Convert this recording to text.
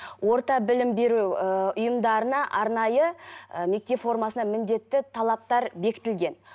орта білім беру ііі ұйымдарына арнайы і мектеп формасына міндетті талаптар бекітілген